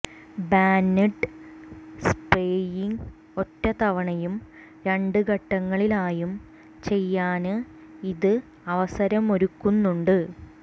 band spraying ഒറ്റ തവണയും രണ്ട് ഘട്ടങ്ങളിലായും ചെയ്യാന് ഇത് അവസരമൊരുക്കുന്നുണ്ട്